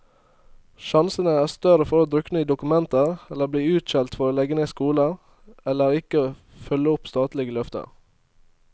Sjansene er større for å drukne i dokumenter eller bli utskjelt for å legge ned skoler, eller ikke følge opp statlige løfter.